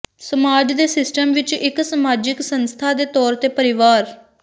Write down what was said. ਸਮਾਜ ਦੇ ਸਿਸਟਮ ਵਿੱਚ ਇੱਕ ਸਮਾਜਿਕ ਸੰਸਥਾ ਦੇ ਤੌਰ ਤੇ ਪਰਿਵਾਰ